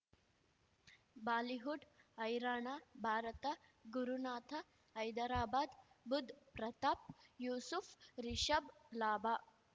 Bollywood ಹೈರಾಣ ಭಾರತ ಗುರುನಾಥ ಹೈದರಾಬಾದ್ ಬುಧ್ ಪ್ರತಾಪ್ ಯೂಸುಫ್ ರಿಷಬ್ ಲಾಭ